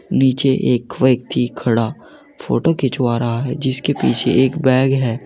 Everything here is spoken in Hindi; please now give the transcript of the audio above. नीचे एक व्यक्ति खड़ा फोटो खिंचवा रहा है जिसके पीछे एक बैग है।